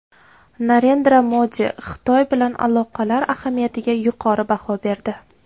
Narendra Modi Xitoy bilan aloqalar ahamiyatiga yuqori baho berdi.